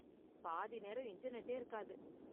பாதி நேரம் இன்டர்நெட்டே இருக்காது.